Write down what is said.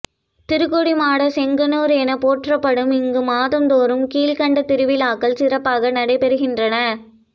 திருக்கொடிமாட செங்குன்றூர் என போற்றப்படும் இங்கு மாதந்தோறும் கீழ்கண்ட திருவிழாக்கள் சிறப்பாக நடைபெறுகின்றன